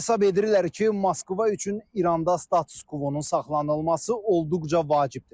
Rusiyada hesab edirlər ki, Moskva üçün İranda status-kvonun saxlanılması olduqca vacibdir.